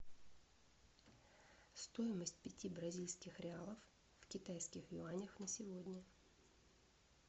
стоимость пяти бразильских реалов в китайских юанях на сегодня